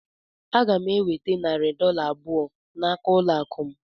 Aga m enweta narị dọla abụọ n'aka ụlọ akụ